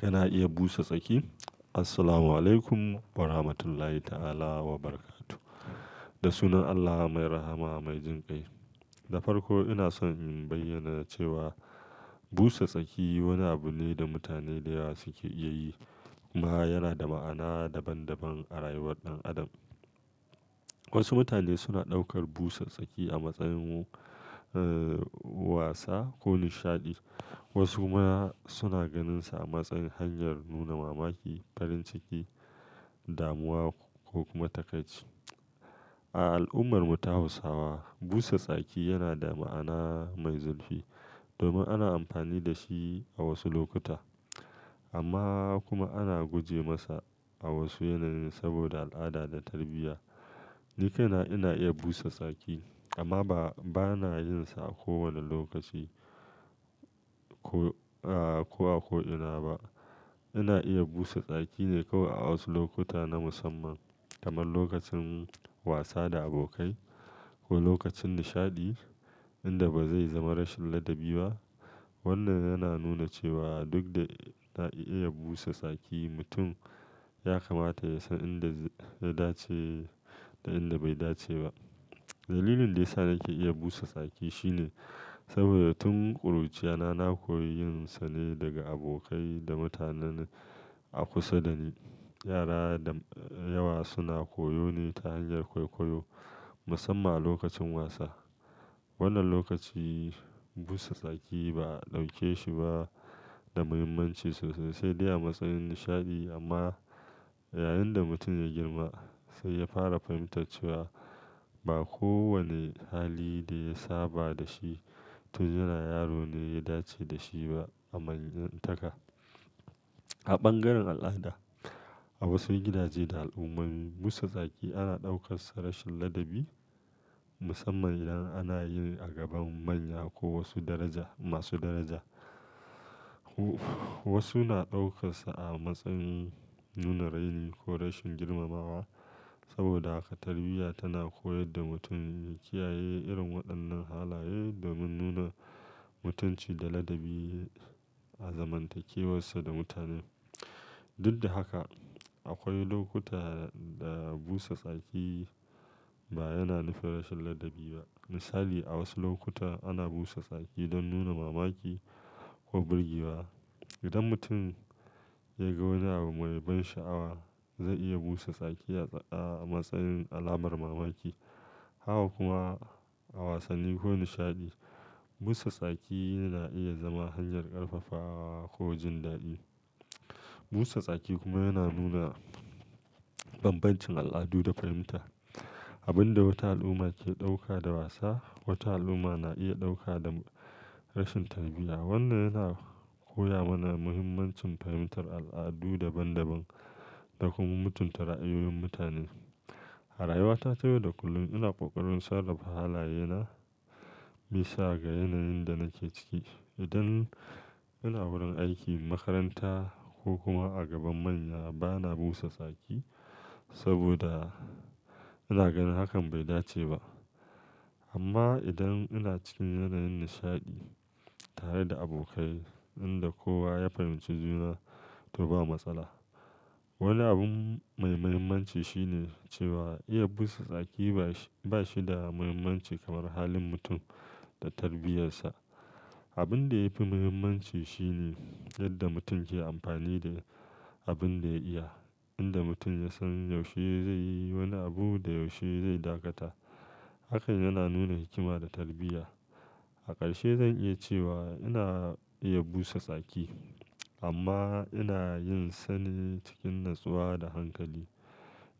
Kina iya busa tsaki? Assalamualaikum warahmatullahi ta'ala wabarakatuh. Da sunan Allah mai rahama mai jin kai. Da farko ina so in bayyana cewa busa tsaki wani abu ne da mutane da yawa suke iya yi, amma yana da ma'ana daban-daban a rayuwar ɗan adam. Wasu mutane suna ɗaukar busa tsaki a matsayin, eh, wasa ko nishaɗi, wasu ma suna ganinsa a matsayin hanyar nuna mamaki, farin ciki, damuwa ko kuma takaici. A al'ummar mu ta Hausawa, busa tsaki yana da ma'ana mai zurfi domin ana amfani da shi a wasu lokuta, amma kuma ana guje masa a wasu yanayi saboda al'ada da tarbiyya. Ni kai na ina iya busa tsaki amma ba, ba na yin sa a kowane lokaci ko, aa, ko a ko'ina ba. Ina iya busa tsaki ne kawai a wasu lokuta na musamman kamar lokacin wasa da abokai ko lokacin nishaɗi inda ba zai zama rashin ladabi ba. Wannan yana nuna cewa duk da na iya busa tsaki, mutum ya kamata ya san inda ya dace da inda bai dace ba. Dalilin da ya sa nake iya busa tsaki shine saboda tun ƙuruciyana na koyi yin sa ne daga abokai da mutanenan a kusa da ni. Yara da yawa suna koyo ne ta hanyar kwaikwayo musamman a lokacin wasa. Wannan lokaci busa tsaki ba a ɗauke shi ba da muhimmanci sosai sai dai a matsayin nishaɗi amma yayin da mutum ya girma sai ya fara fahimtar cewa ba kowane hali da ya saba da shi tun yana yaro ne ya dace da shi ba a manyanta ka. A bangaren al'ada, a wasu gidaje da al'ummai, busa tsaki ana ɗaukarsa rashin ladabi musamman idan ana yi a gaban manya ko wasu daraja, masu daraja. Wasu na ɗaukarsa a matsayin nuna raini ko rashin girmamawa saboda haka tarbiyya tana koyar da mutum ya kiyaye irin waɗannan halaye domin nuna mutunci da ladabi a zaman takewarsa da mutane. Duk da haka, akwai lokuta da busa tsaki ba yana nufin rashin ladabi ba. Misali, a wasu lokuta ana busa tsaki don nuna mamaki ko birgewa. Idan mutum ya ga wani abu mai ban sha'awa, zai iya busa tsaki a matsayin alamar mamaki. Haka kuma a wasanni ko nishaɗi, busa tsaki yana iya zama hanyar ƙarfafawa ko jin daɗi. Busa tsaki kuma yana nuna bambancin al'adu da fahimta. Abin da wata al'umma ke ɗauka da wasa, wata al'umma na iya ɗauka da rashin tarbiyya. Wannan yana koya mana muhimmancin fahimtar al'adu daban-daban da kuma mutunta ra'ayoyin mutane. A rayuwata ta yau da kullum ina ƙoƙarin sarrafa halaye na bisa ga yanayin da nake ciki. Idan ina wurin aiki, makaranta ko kuma a gaban manya, ba na busa tsaki saboda ina ganin hakan bai dace ba. Amma idan ina cikin yanayin nishaɗi tare da abokai inda kowa ya fahimci juna, to ba matsala. Wani abu mai muhimmanci shine cewa iya busa tsaki ba shi, ba shi da muhimmanci kamar halin mutum da tarbiyyarsa. Abin da yafi muhimmanci shine yadda mutum ke amfani da abin da ya iya. Inda mutum ya san yaushe zai yi wani abu da yaushe zai dakata, hakan yana nuna hikima da tarbiyya. A ƙarshe zan iya cewa ina iya busa tsaki amma ina yin sane cikin natsuwa da hankali.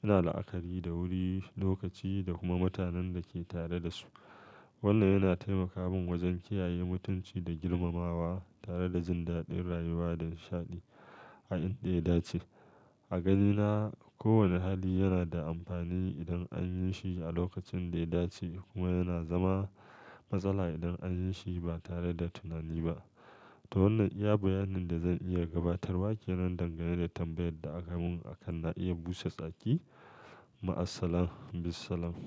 Ina la'akari da wuri, lokaci da kuma mutanen da ke tare da su. Wannan yana taimaka min wajen kiyaye mutunci da girmamawa tare da jin daɗin rayuwa da nishaɗi a inda ya dace. A ganina, kowane hali yana da amfani idan an yi shi a lokacin da ya dace kuma yana zama matsala idan an yi shi ba tare da tunani ba. To wannan iya bayani da zan iya gabatarwa ke nan dangane da tambayar da aka mun akan na iya busa tsaki. Ma'assalam, bissalam.